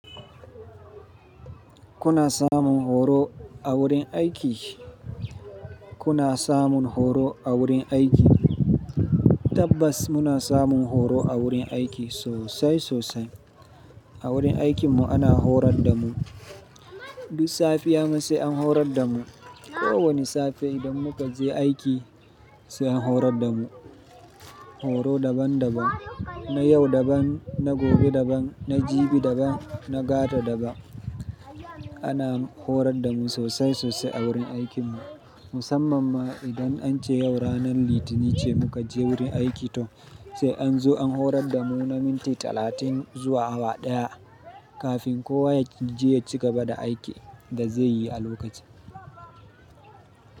Kuna samun horo a wurin aiki? Kuna samun horo a wurin aiki? Tabbas muna samun horo a wurin aiki sosai sosai. A wurin aikinmu ana horar da mu. Duk safiya sai an horar da mu. Ko wane safe idan muka je aiki sai an horar da mu. Horo daban daban, na yau daban, na gobe daban, na jibi daban, na gata daban. Ana horar da mu sosai sosai a wurin aikinmu. Musamman ma idan an ce yau ranar Litinin ce muka je wurin aiki to sai an zo an horar da mu na minti talatin zuwa awa ɗaya kafin kowa ya je ya ci gaba da aikin da zai yi a lokacin.